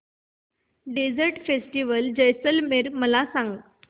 desert festival Jaisalmer मला सांग